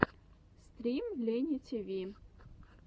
стрим лейни тиви